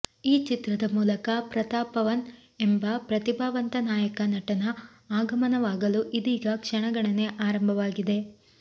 ಈ ಚಿತ್ರದ ಮೂಲಕ ಪ್ರತಾಪವನ್ ಎಂಬ ಪ್ರತಿಭಾವಂತ ನಾಯಕ ನಟನ ಆಗಮನವಾಗಲು ಇದೀಗ ಕ್ಷಣಗಣನೆ ಆರಂಭವಾಗಿದೆ